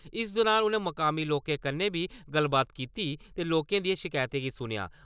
इस दुरान उ'नें मकामी लोकें कन्नै बी गल्लबात कीती ते लोकें दियें शकैतें गी सुनेआ।